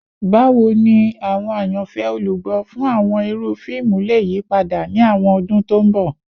Bawo ni awọn ayanfẹ olugbo fun awọn iru fiimu le yipada ni awọn ọdun to nbọ?